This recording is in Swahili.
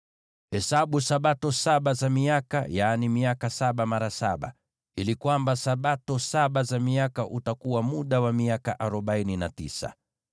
“ ‘Hesabu Sabato saba za miaka, yaani miaka saba mara saba, ili Sabato saba za miaka utakuwa muda wa miaka arobaini na tisa.